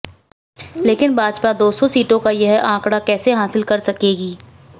लेकिन भाजपा दो सौ सीटों का यह आंकड़ा कैसे हासिल कर सकेगी